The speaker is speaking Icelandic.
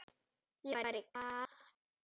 Ég var í Glað.